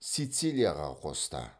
сицилияға қосты